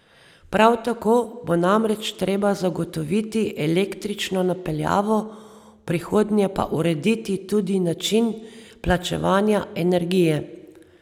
Prav tako bo namreč treba zagotoviti električno napeljavo, v prihodnje pa urediti tudi način plačevanja energije.